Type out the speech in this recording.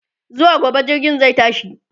zuwa gobe jirgin zai tashi